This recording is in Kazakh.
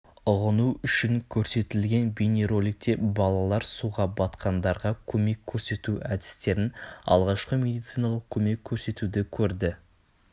ұғыну үшін көрсетілген бейнероликте балалар суға батқандарға көмек көрсету әдістерін алғашқы медициналық көмек көрсетуді көрді